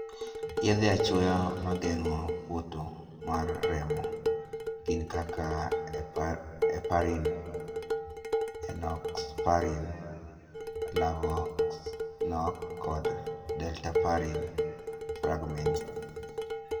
Yedhe achuoya mageng'o poto mar remo gin kaka 'heparin', 'enoxaparin (Lovenox)', kod 'dalteparin (Fragmin)'.